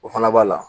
O fana b'a la